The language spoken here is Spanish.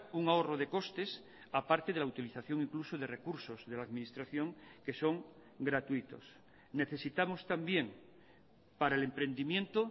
un ahorro de costes aparte de la utilización incluso de recursos de la administración que son gratuitos necesitamos también para el emprendimiento